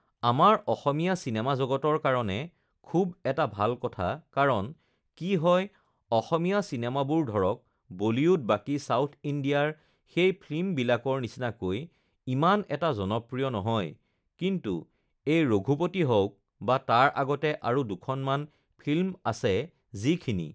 আমাৰ অসমীয়া চিনেমা জগতৰ কাৰণে খুব এটা ভাল কথা কাৰণ কি হয় অসমীয়া চিনেমাবোৰ ধৰক বলিউড বাকী ছাউথ ইণ্ডিয়াৰ সেই ফিল্মবিলাকৰ নিচিনাকৈ ইমান এটা জনপ্ৰিয় নহয় কিন্তু এই ৰঘুপতি হওঁক বা তাৰ আগতে আৰু দুখনমান ফিল্ম আছে যিখিনি